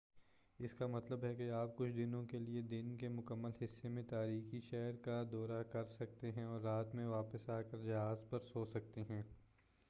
اس کا مطلب ہے کہ آپ کچھ دنوں کے لیے دن کے مکمل حصے میں تاریخی شہر کا دورہ کر سکتے ہیں اور رات میں واپس آ کر جہاز پر سو سکتے ہیں